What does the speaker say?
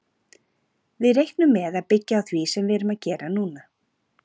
Við reiknum með að byggja á því sem við erum að gera núna.